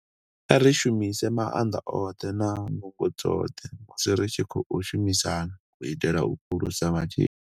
Kha ri shumise maanḓa oṱhe na nungo dzoṱhe musi ri tshi khou shumisana u itela u phulusa matshilo.